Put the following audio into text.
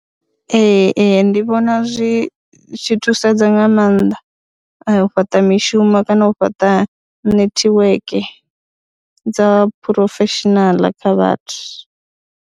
Ee, ee, ndi vhona zwi zwi thusedza nga maanḓa u fhaṱa mishumo kana u fhaṱa netiweke dza phurofeshinaḽa kha vhathu.